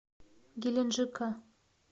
геленджика